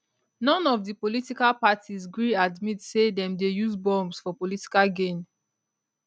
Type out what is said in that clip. none of di political parties gree admit say dem dey use bombs for political gain